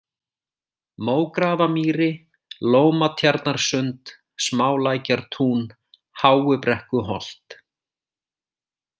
Mógrafamýri, Lómatjarnarsund, Smálækjartún, Háubrekkuholt